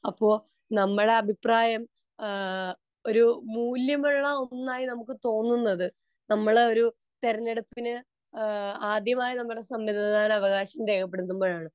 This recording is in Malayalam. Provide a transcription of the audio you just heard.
ഇപ്പൊ നമ്മളെ അഭിപ്രായം ഒരു മൂല്യമുള്ള ഒന്നായി നമുക്ക് തോന്നുന്നത് നമ്മൾ ഒരു തെരഞ്ഞെടുപ്പിനെ ആദ്യമായി നമ്മൾ സമ്മതിദാനാവകാശം രേഖപ്പെടുത്തുമ്പോഴാണ്